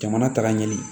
Jamana taga ɲɛ